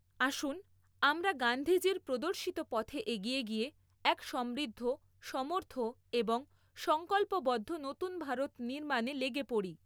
আসুন, আমরা গান্ধীজীর প্রদর্শিত পথে এগিয়ে গিয়ে এক সমৃদ্ধ, সমর্থ এবং সংকল্পবদ্ধ নতুন ভারত নির্মাণে লেগে পড়ি।